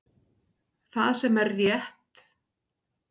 Það sem er rétt